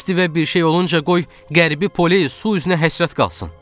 Stivə bir şey olunca qoy Qərbi Poleyi su üzünə həsrət qalsın.